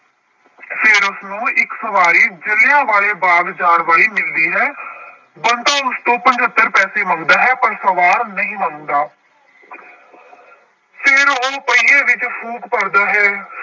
ਫਿਰ ਉਸਨੂੰ ਇੱਕ ਸਵਾਰੀ ਜ਼ਿਲ੍ਹਿਆਂਵਾਲੇ ਬਾਗ਼ ਜਾਣ ਵਾਲੀ ਮਿਲਦੀ ਹੈ ਬੰਤਾ ਉਸ ਤੋਂ ਪਜੱਤਰ ਪੈਸੇ ਮੰਗਦਾ ਹੈ ਪਰ ਸਵਾਰ ਨਹੀਂ ਮੰਨਦਾ ਫਿਰ ਉਹ ਪਹੀਏ ਵਿੱਚ ਫ਼ੂਕ ਭਰਦਾ ਹੈ।